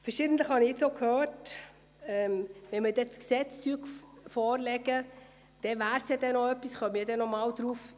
Verschiedentlich habe ich nun auch gehört, man könne nochmals darauf eintreten, wenn man dann das Gesetz vorlegen werde.